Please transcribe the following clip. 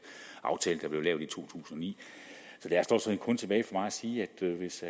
aftale der blev lavet i to tusind og ni så der er stort set kun tilbage for mig at sige at hvis